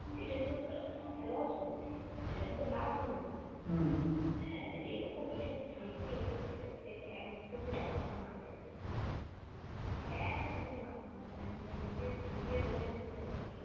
এটা কিন্তু আহ loss হল । এটা কিন্তু লাভ হল না । হ্যাঁ তা এরকম এসব থেকে এসব থেকে একদমই মাথা মারতে নেই একদমই মাথা মারতে নেই আমি এটা নিজে~নিজের own experience থেকে বলছি ।